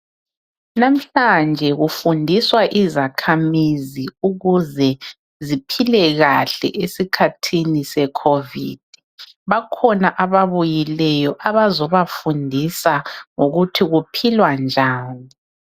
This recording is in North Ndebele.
namuhlanje kufundiswa izakhamizi ukuze ziphile kahle esikhathini se COVID bakhona ababuyileyo bezobafundisa ngokuthi kuphilwa njani